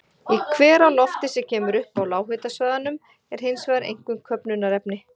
Í hveralofti, sem kemur upp á lághitasvæðunum, er hins vegar einkum köfnunarefni.